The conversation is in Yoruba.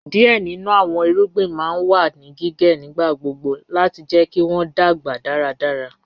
Díẹ̀ nínu àwọn ìrúgbìn ma n wà ní gíǵẹ̀ nígbàgbọ̀gbọ̀ láti jẹ̀ kí wọn dágba dáràdárà